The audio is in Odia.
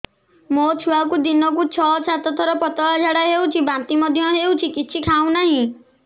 ମୋ ଛୁଆକୁ ଦିନକୁ ଛ ସାତ ଥର ପତଳା ଝାଡ଼ା ହେଉଛି ବାନ୍ତି ମଧ୍ୟ ହେଉଛି କିଛି ଖାଉ ନାହିଁ